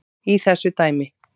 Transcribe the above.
í þessu dæmi.